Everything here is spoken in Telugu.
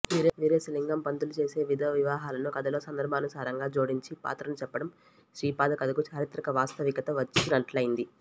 వీరేశలింగం పంతులు చేసే విధవ వివాహాలను కథలో సందర్భానుసారంగా జోడించి పాత్రను చెప్పడం శ్రీపాద కథకు చారిత్రక వాస్తవికత వచ్చినట్లైంది